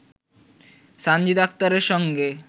সানজিদা আক্তারের সঙ্গে